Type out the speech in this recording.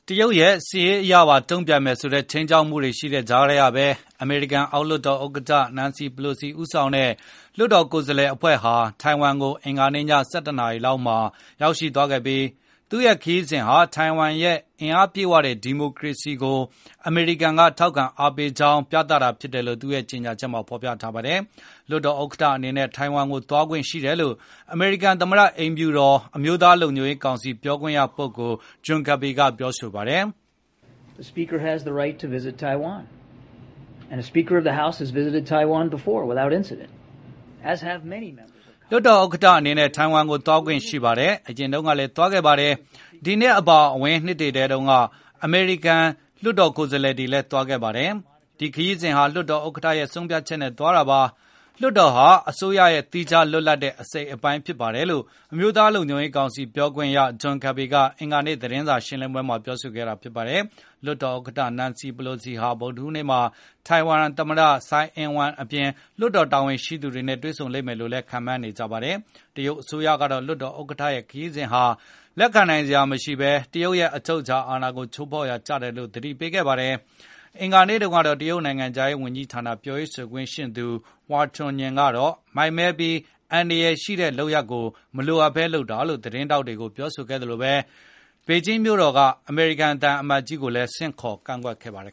တရုတ်ရဲ့ စစ်ရေးအရပါ တုံပြန်မယ်ဆိုတဲ့ ခြိမ်းခြောက်မှုတွေရှိနေတဲ့ကြားကဘဲ အမေရိကန် အောက်လွှတ်တော်ဥက္ကဌ Nancy Pelosi ဦးဆောင်တဲ့ လွှတ်တော်ကိုယ်စားလှယ်အဖွဲ့ဟာ ထိုင်ဝမ်ကို အင်္ဂါနေ့ည ၁၁ နာရီလောက်မှာ ရောက်ရှိသွားခဲ့ပြီး သူရဲ့ခရီးစဉ်ဟာ ထိုင်ဝမ်ရဲ့ အားအင်ပြည့်ဝတဲ့ ဒီမိုကရေစီကို အမေရိကန်က ထောက်ခံအားပေးကြောင်း ပြသတာဖြစ်တယ်လို့ သူ့ရဲ့ ကြေညာချက်မှာဖေါ်ပြပါတယ်။ လွှတ်တော်ဥက္ကဌ အနေနဲ့ ထိုင်ဝမ်ကို သွားခွင့်ရှိတယ်လို့ အမေရိကန် သမ္မတ အိမ်ဖြူတော် အမျိုးသားလုံခြုံရေ းကောင်စီပြောခွင့်ရပုဂ္ဂိုလ် John Kirby ကပြောဆိုပါတယ်။ “လွှတ်တော်ဥက္ကဌ အနေနဲ့ ထိုင်ဝမ်ကိုသွားခွင့်ရှိပါတယ်။ အရင်တုန်းကလည်းသွားခဲ့ပါတယ်။ ဒီနှစ်အပါအဝင် အရင်နှစ်တွေကလည်း အမေရိကန်လွှတ်တော်ကိုယ်စားလှယ်တွေသွားခဲ့ပါတယ်။ ဒီခရီးစဉ်ဟာလွှတ်တော်ဥက္ကဌရဲ့ဆုံးဖြတ်ချက်နဲ့ သွားတာပါ။ လွှတ်တော်ဟာ အစိုးရရဲ့သီးခြားလွတ်လပ်တဲ့အစိပ်အပိုင်းဖြစ်ပါတယ်လို့” အမျိုးသား လုံခြုံရေး ကောင်စီပြောခွင့်ရ John Kirby ကအင်္ဂါနေ့ သတင်းစာရှင်းလင်းပွဲမှာ ပြောဆိုခဲ့တာပါ။ လွှတ်တော်ဥက္ကဌ Nacny Pelosi ဟာဗုဒ္ဓဟူးနေ့မှာ ထိုင်ဝမ်သမ္မတ Tsai Ing-wen အပြင် လွှတ်တော်တာဝန်ရှိသူတွေနဲ့ တွေ့ဆုံလိမ့်မယ်လို့လည်း ခန့်မှန်းနေကြပါတယ်။ တရုတ်အစိုးရကတော့ လွှတ်တော်ဥက္ကဌရဲ့ ခရီးစဉ်ဟာ လက်ခံနိုင်စရာမရှိဘဲ၊ တရုတ်ရဲ့ အချုပ်အခြာ အာဏာကို ချိုးဖေါက်ရာကျတယ်လို့ သတိပေးခဲ့ပါတယ်။ အင်္ဂါနေ့တုံးကတော့ တရုတ်နိုင်ငံခြားရေး ဝန်ကြီးဌာနပြောရေး ဆိုခွင့်ရှိသူ Hua Chunying ကတော့ မိုက်မဲပြီး အန္တရယ်ရှိတဲ့ လုပ်ရပ်ကိုမလိုအပ်ဘဲ လုပ်တာလို့ သတင်းထောက်တွေကို ပြောဆိုခဲ့သလို၊ ပေကျင်းမြို့တော်က အမေရိကန် သံအမတ်ကြီးကိုလည်း ဆင့်ခေါ် ကန့်ကွက်ခဲ့ပါတယ်